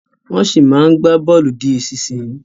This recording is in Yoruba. Wọ́n ṣì máa ń gba bọ̀ọ̀lù di ìsinsìnyí